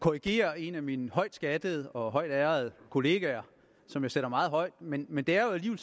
korrigere en af mine højt skattede og højt ærede kollegaer som jeg sætter meget højt men men det er jo